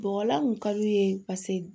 Bɔgɔlan kun ka d'u ye paseke